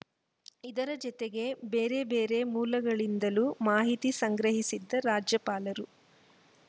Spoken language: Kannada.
ಇದರ ಜೊತೆಗೆ ಬೇರೆ ಬೇರೆ ಮೂಲಗಳಿಂದಲೂ ಮಾಹಿತಿ ಸಂಗ್ರಹಿಸಿದ ರಾಜ್ಯಪಾಲರು